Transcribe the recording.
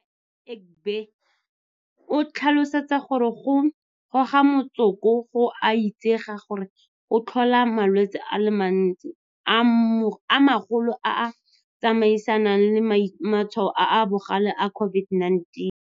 Ngaka Egbe o tlhalosa gore go goga motsoko go a itsege gore go tlhola malwetse a le mantsi a magolo a a tsamaisanang le matshwao a a bogale a COVID-19.